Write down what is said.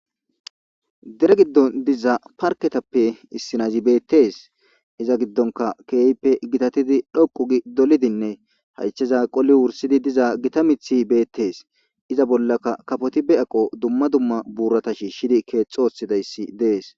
dere giddon diza parketappe issinazi beettees iza giddonka keehppe gitatidi dhoqu gi dolidinne haycheza qoli wursidi diza gita mithi beettees iza bollaka kafoti be aqo dumma dumma buurata shiishidi keexxoosidayssi dees